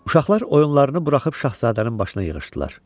Uşaqlar oyunlarını buraxıb Şahzadənin başına yığışdılar.